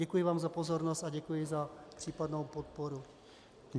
Děkuji vám za pozornost a děkuji za případnou podporu.